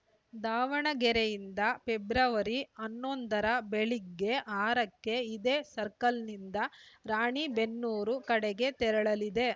ದಾವಣಗೆರೆಯಿಂದ ಫೆಬ್ರವರಿ ಹನ್ನೊಂದರ ಬೆಳಗ್ಗೆ ಆರಕ್ಕೆ ಇದೇ ಸರ್ಕಲ್‌ನಿಂದ ರಾಣೆಬೆನ್ನೂರು ಕಡೆಗೆ ತೆರಳಲಿದೆ